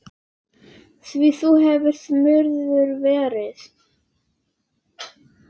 Því þú hefur smurður verið.